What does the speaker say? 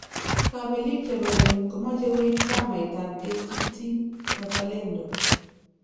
Kabelik chebo geny komache koib chamait ab ACT-Wazalendo